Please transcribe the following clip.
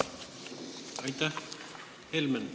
Aitäh!